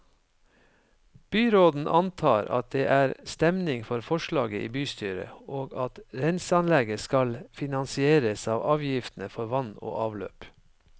Byråden antar at det er stemning for forslaget i bystyret, og at renseanlegget skal finansieres av avgiftene for vann og avløp.